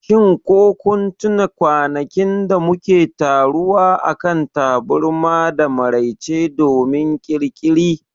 shin ko kun tuna kwanakin da muke taruwa akan taburma da maraice domin Ƙirƙiri?